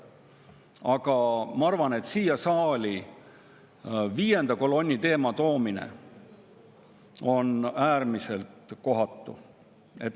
Aga ma arvan, et siia saali viienda kolonni teema toomine on äärmiselt kohatu.